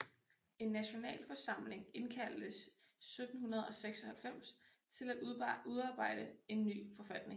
En Nationalforsamling indkaldtes 1796 til at udarbejde en ny forfatning